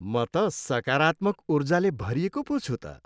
म त सकारात्मक ऊर्जाले भरिएको पो छु त।